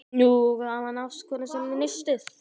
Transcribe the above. Nú gaf hann ástkonu sinni nistið.